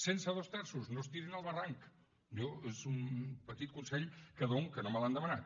sense dos terços no es tirin al barranc jo és un petit consell que dono que no me l’han demanat